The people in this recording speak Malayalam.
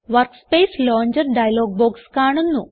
വർക്ക്സ്പേസ് ലോഞ്ചർ ഡയലോഗ് ബോക്സ് കാണുന്നു